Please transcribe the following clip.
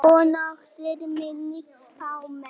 Og nokkrir minni spámenn.